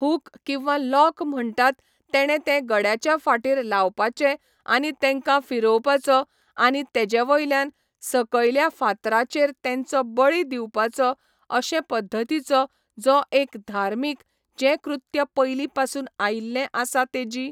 हूक किंवां लॉक म्हणटात तेणे ते गड्याच्या फाटीर लावपाचे आनी तेंकां फिरोवपाचो आनी तेजे वयल्यान सकयल्या फातराचेर तेंचो बळी दिवपाचो अशे पध्दतीचो जो एक धार्मीक जे कृत्य पयली पासून आयिल्लें आसा तेजी